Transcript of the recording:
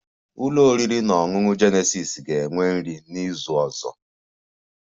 Ụlọ oriri na ọṅụṅụ Jenesis ga-enwe nri nri n'izu ọzọ